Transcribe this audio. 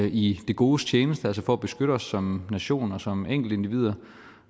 i det godes tjeneste altså for at beskytte os som nation og som enkeltindivider